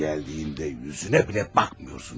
Gələndə üzünə belə baxmırsan.